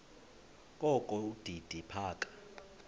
kokho udidi phaka